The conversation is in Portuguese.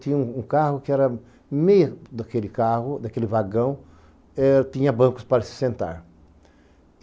tinha um carro que era... Meio daquele carro, daquele vagão, eh tinha bancos para se sentar.